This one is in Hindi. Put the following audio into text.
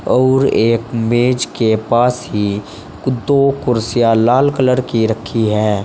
आउर एक मेज के पास ही दो कुर्सियां लाल कलर की रखी है।